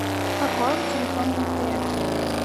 пополни телефон на мтс